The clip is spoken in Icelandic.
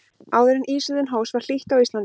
áður en ísöldin hófst var hlýtt á íslandi